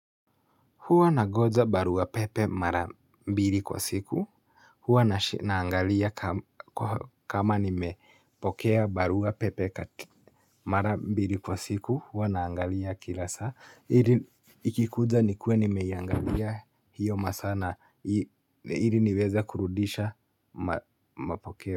Huwa nangoja barua pepe mara mbili kwa siku, huwa naangalia kama nimepokea barua pepe mara mbili kwa siku, huwa naangalia kila saa. Ikikuja nikuwe nimeiangalia hiyo masaa na, ili niweze kurudisha mapokeo.